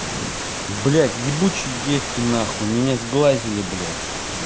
блядь ебучие девки на хуй меня сглазили блядь